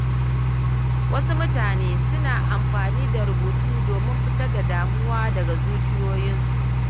Wasu mutane suna amfani da rubutu domin fitar da damuwa daga zuciyoyinsu.